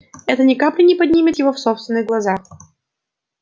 это ни капли не поднимет его в собственных глазах